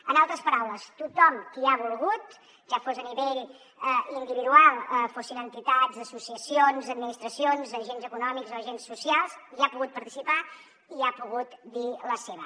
en altres paraules tothom qui ha volgut ja fos a nivell individual fossin entitats associacions administracions agents econòmics o agents socials hi ha pogut participar hi ha pogut dir la seva